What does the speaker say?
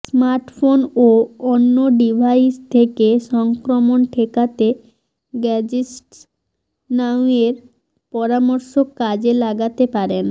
smartphone ও অন্য device থেকে সংক্রমণ ঠেকাতে গ্যাজেটস নাউয়ের পরামর্শ কাজে লাগাতে পারেন